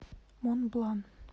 монблан